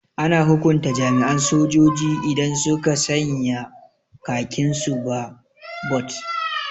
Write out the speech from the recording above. Ana hukunta jami'an sojoji idan suka sanya khakin su ba bot